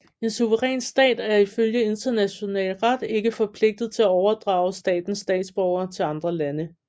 En suveræn stat er ifølge international ret ikke forpligtet til at overdrage statens statsborgere til andre lande